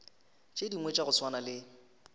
dingwe tša go swana le